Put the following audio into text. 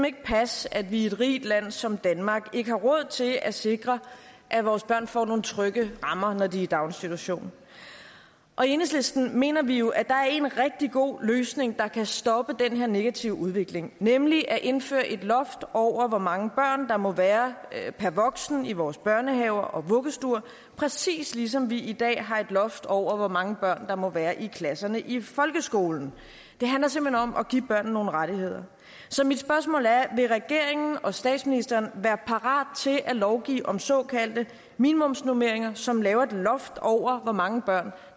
ikke passe at vi i et rigt land som danmark ikke har råd til at sikre at vores børn får nogle trygge rammer når de er i daginstitution og i enhedslisten mener vi jo at der er en rigtig god løsning der kan stoppe den her negative udvikling nemlig at indføre et loft over hvor mange børn der må være per voksen i vores børnehaver og vuggestuer præcis ligesom vi i dag har et loft over hvor mange børn der må være i klasserne i folkeskolen det handler simpelt hen om at give børn nogle rettigheder så mit spørgsmål er vil regeringen og statsministeren være parat til at lovgive om såkaldte minimumsnormeringer som lægger et loft over hvor mange børn